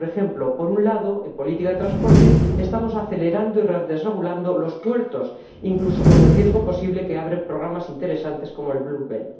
Por ejemplo, en política de transporte, estamos acelerando y desregulando los puertos, incluso con el riesgo posible que representan programas interesantes como Blue Belt